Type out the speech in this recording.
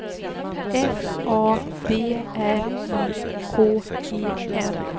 F A B R I K E N